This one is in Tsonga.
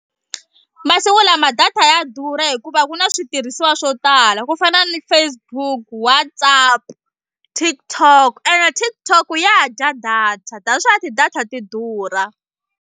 Masiku lama data ya durha hikuva ku na switirhisiwa swo tala ku fana ni Facebook, WhatsApp TikTok and TikTok ya dya data that's why ti-data ti durha.